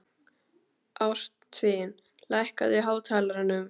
Ástvin, lækkaðu í hátalaranum.